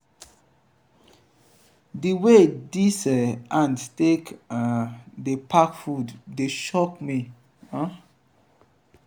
di way dese ants take um dey pack food dey shock me. um